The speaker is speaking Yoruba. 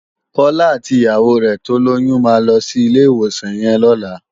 Kola àtí iyàwó rè tólóyùn má lòsí ilé iwósàn yèn lòlá